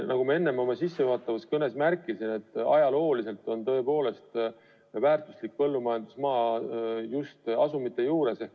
Nagu ma oma sissejuhatavas kõnes märkisin, ajalooliselt on tõepoolest väärtuslik põllumajandusmaa just asumite juures.